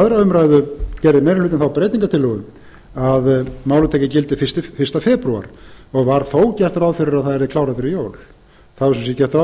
aðra umræðu gerði meiri hlutinn þá breytingartillögu að málið tæki gildi fyrsta febrúar var þó gert ráð fyrir að það yrði klárað fyrir jól það var sem sagt gert ráð